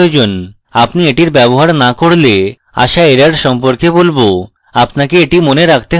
আপনি এটির ব্যবহার now করলে আসা error সম্পর্কে বলবো আপনাকে এটি মনে রাখতে হবে